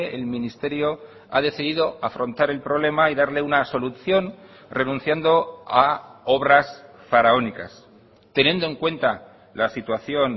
el ministerio ha decidido afrontar el problema y darle una solución renunciando a obras faraónicas teniendo en cuenta la situación